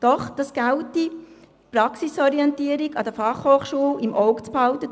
Es gelte, die Praxisorientierung an den FH im Auge zu behalten.